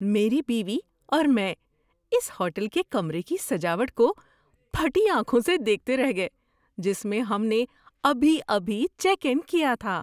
میری بیوی اور میں اس ہوٹل کے کمرے کی سجاوٹ کو پھٹی آنکھوں سے دیکھتے رہ گئے جس میں ہم نے ابھی ابھی چیک ان کیا تھا۔